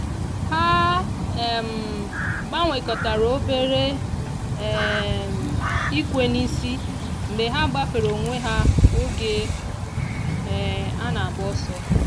ha um gbanwekọtara obere um ikwe n'isi mgbe ha gbafere onwe ha oge um a na-agba ọsọ.